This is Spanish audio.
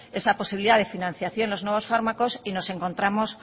esa posibilidad de financiación de los nuevos fármacos y nos encontramos